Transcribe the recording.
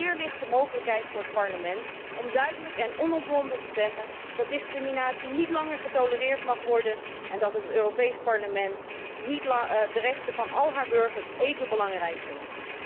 Hier ligt de mogelijkheid voor het Parlement om duidelijk en onomwonden te zeggen dat discriminatie niet langer getolereerd mag worden en dat het Europees Parlement de rechten van al haar burgers even belangrijk vindt.